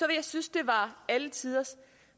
jeg synes det var alle tiders